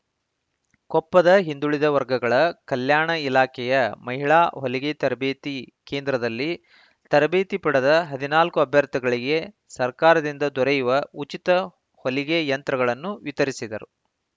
ಕೊಪ್ಪದ ಹಿಂದುಳಿದ ವರ್ಗಗಳ ಕಲ್ಯಾಣ ಇಲಾಖೆಯ ಮಹಿಳಾ ಹೊಲಿಗೆ ತರಬೇತಿ ಕೇಂದ್ರದಲ್ಲಿ ತರಬೇತಿ ಪಡೆದ ಹದಿನಾಲ್ಕು ಅಭ್ಯರ್ಥಿಗಳಿಗೆ ಸರ್ಕಾರದಿಂದ ದೊರೆಯುವ ಉಚಿತ ಹೊಲಿಗೆ ಯಂತ್ರಗಳನ್ನು ವಿತರಿಸಿದರು